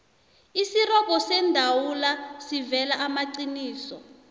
isirobho seendawula siveza amaqiniso